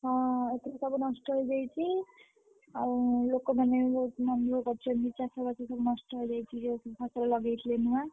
ହଁ ଏପଟେ ସବୁ ନଷ୍ଟ ହେଇଯାଇଛି। ଆଉ ଲୋକ ମାନେ ବି ବହୁତ୍ ମନଦୁଃଖ କରୁଇଛନ୍ତି ଚାଷବାସ ସବୁ ନଷ୍ଟ ହେଇଯାଇଛି ଯୋଉ ଫସଲ ଲଗେଇଥିଲେ ନୂଆ।